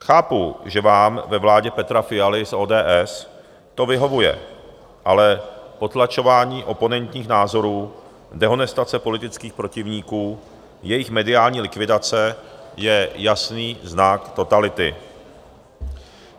Chápu, že vám ve vládě Petra Fialy z ODS to vyhovuje, ale potlačování oponentních názorů, dehonestace politických protivníků, jejich mediální likvidace je jasný znak totality.